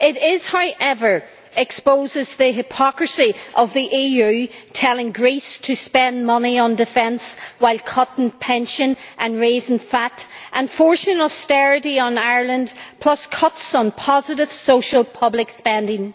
It does, however, expose the hypocrisy of the EU telling Greece to spend money on defence while cutting pensions and raising VAT and forcing austerity on Ireland plus cuts in positive social public spending.